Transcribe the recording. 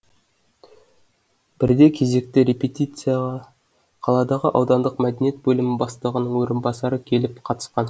бірде кезекті репетицияға қаладағы аудандық мәдениет бөлімі бастығының орынбасары келіп қатысқан